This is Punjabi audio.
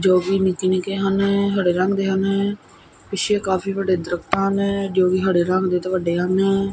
ਜੋ ਕਿ ਨਿੱਕੇ ਨਿੱਕੇ ਹਨ ਹਰੇ ਰੰਗ ਦੇ ਹਨ ਪਿੱਛੇ ਕਾਫੀ ਵੱਡੇ ਦਰਖਤ ਹਨ ਜੋ ਵੀ ਹੜੇ ਰੰਗ ਦੇ ਤੇ ਵੱਡੇ ਹਨ।